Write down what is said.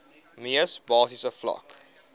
mees basiese vlak